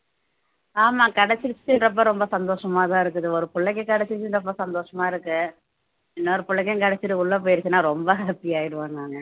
ஆமா கிடைச்சிருச்சுன்றப்ப ரொம்ப சந்தோஷமா தான் இருக்குது ஒரு புள்ளைக்கு கிடைச்சதுன்றப்ப சந்தோஷமா இருக்கு இன்னொரு புள்ளைக்கும் கிடைச்சிட்டு உள்ள போயிருச்சுன்னா ரொம்ப happy ஆயிடுவேன் நானு